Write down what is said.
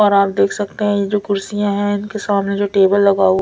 और आप देख सकते है ये जो कुदसिया है इनके समाने जो टेबल लगा वो--